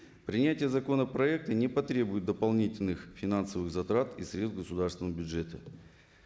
принятие законопроекта не потребует дополнительных финансовых затрат из средств государственного бюджета